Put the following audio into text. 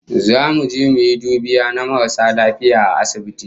Zamu je mu yi dubiya na maras lafiya a asibiti